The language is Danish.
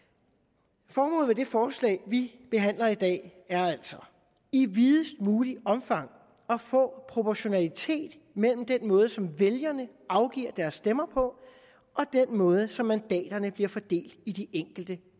forslag vi behandler i dag er altså i videst muligt omfang at få proportionalitet mellem den måde som vælgerne afgiver deres stemme på og den måde som mandanterne bliver fordelt i de enkelte